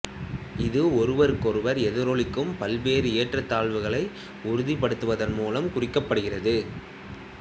இது ஒருவருக்கொருவர் எதிரொலிக்கும் பல்வேறு ஏற்றத்தாழ்வுகளை உறுதிப்படுத்துவதன் மூலம் குறிக்கப்படுகிறது